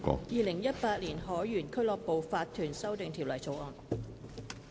《2018年海員俱樂部法團條例草案》。